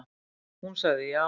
Hún sagði já.